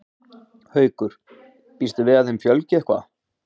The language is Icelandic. Haukur: Býstu við að þeim fjölgi eitthvað?